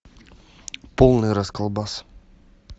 полный расколбас